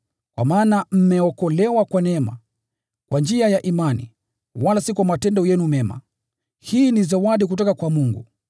Kwa maana mmeokolewa kwa neema, kwa njia ya imani, wala si kwa matendo yenu mema. Hii ni zawadi kutoka kwa Mungu,